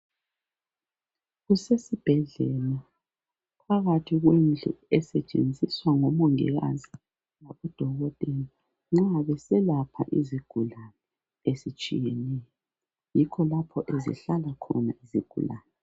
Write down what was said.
Kusesibhedlela phakathi kwendlu esetshenziswa ngomongikazi labodokotela nxa beselapha izigulane ezitshiyeneyo. Yikho lapho ezihlala khona izigulane.